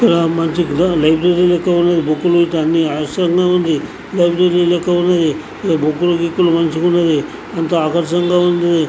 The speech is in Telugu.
ఇక్కడ మంచి లైబ్రరీ లెక్క ఉన్నది . ఇక్కడ బుక్ గికులు మంచిగా ఉన్నది . ఎంతో ఆకర్షణగా ఉన్నది.